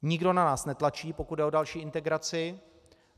Nikdo na nás netlačí, pokud jde o další integraci.